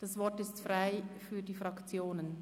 Das Wort ist frei für die Fraktionen.